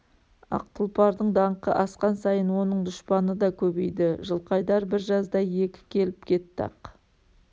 ақ тұлпардың даңқы асқан сайын оның дұшпаны да көбейді жылқайдар бір жазда екі келіп кетті ақ